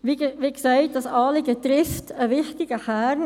Wie gesagt, dieses Anliegen trifft einen wichtigen Kern.